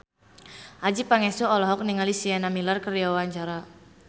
Adjie Pangestu olohok ningali Sienna Miller keur diwawancara